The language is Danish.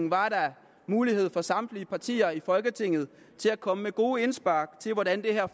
var der mulighed for samtlige partier i folketinget til at komme med gode indspark til hvordan det her